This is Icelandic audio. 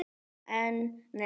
En. nei.